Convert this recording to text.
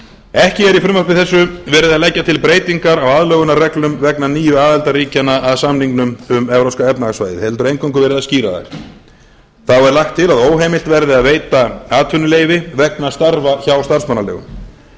ekki er í frumvarpi þessu verið að leggja til breytingar á aðlögunarreglum vegna nýju aðildarríkjanna að samningnum um evrópska efnahagssvæðið heldur eingöngu verið að skýra það þá er lagt til að óheimilt verði að veita atvinnuleyfi vegna starfa hjá starfsmannaleigum